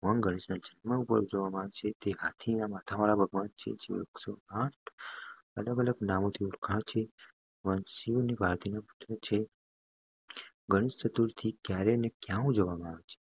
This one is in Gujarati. ભગવાન ગણેશના ભવ્ય જન્મ પર ઉજવવામાં આવે છે જે હાથીના માથાવાળા ભગવાનછે અલગ અલગ માહોલ થી ઓળખાય છે ભગવાન શિવ અને દેવી પાર્વતીના પુત્ર છે ગણેશ ચતુર્થી